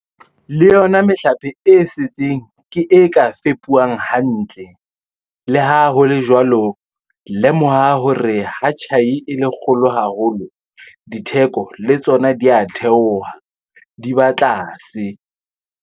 Le yona mehlape e setseng ke e ka fepuwang hantle. Le ha ho le jwalo, lemoha hore ha tjhai e le kgolo haholo, ditheko le tsona di a theoha, di ba tlase.